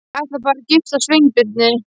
Ég ætla bara að giftast Sveinbirni